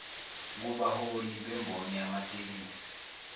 kubaholi bemboni yamatekisi